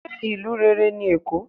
se ìlú rere ní Èko?